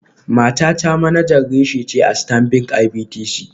Matata manajan reshe ce a Stanbic IBTC.